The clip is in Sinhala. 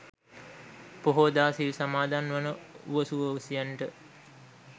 පොහෝදා සිල් සමාදන් වන උවසු උවැසියන්ට